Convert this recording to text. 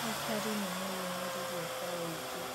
Aikari nĩmeyũmĩririe kwa ũingĩ